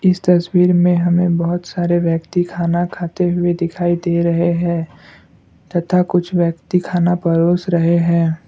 इस तस्वीर में हमें बहुत सारे व्यक्ति खाना खाते हुए दिखाई दे रहे हैं तथा कुछ व्यक्ति खाना परोस रहे हैं।